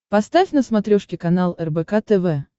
поставь на смотрешке канал рбк тв